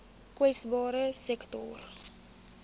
kwesbare sektore